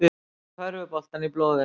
Með körfuboltann í blóðinu